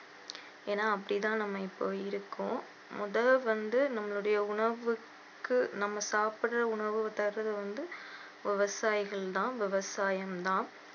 ஏன்னா அப்டிதான் நம்ம இப்போ இருக்கோம் முதல்ல வந்து நம்மளுடைய உணவுக்கு நாம சாப்பிடுகிற உணவு தர்றது வந்து விவசாயிகள் தான் விவசாயம் தான்